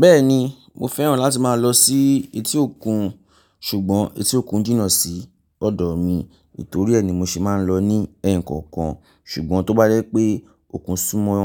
Bẹ́ẹ̀ni mo fẹ́ràn láti máa lọ sí etí òkun, ṣùgbọ́n etí òkun n jìnà sí ọ̀dọ̀ mi. Tò rí ẹ ni mo ṣe máa ń lọ ní ẹ̀ẹ̀kọ̀kan. Ṣùgbọ́n tó bá dé pé òkun súmọ́